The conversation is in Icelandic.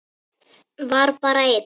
Var bara einn?